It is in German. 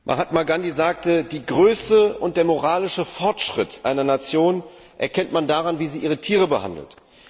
Herr Präsident! Mahatma Gandhi sagte Die Größe und den moralischen Fortschritt einer Nation erkennt man daran, wie sie ihre Tiere behandelt.